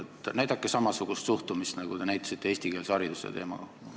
Te näitate samasugust suhtumist, nagu te näitasite ka eestikeelse hariduse teema puhul.